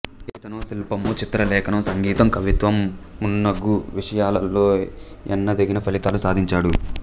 ఇతను శిల్పము చిత్ర లేఖనం సంగీతం కవిత్వం మున్నగు విషయాలలో ఎన్నదగిన ఫలితాలు సాధించాడు